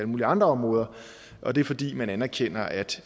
mulige andre områder og det er fordi man anerkender at